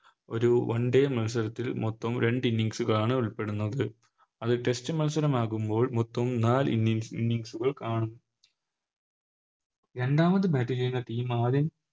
ഒരു One day മത്സരത്തിൽ മൊത്തം രണ്ട് Innings കളാണ് ഉൾപ്പെടുന്നത് അത് Test മത്സരം ആകുമ്പോൾ മൊത്തം നാല് Innings കൾ കാണും രണ്ടാമത് Bat ചെയ്യുന്ന Team ആദ്യം